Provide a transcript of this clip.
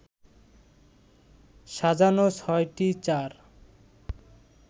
সাজানো ৬টি চার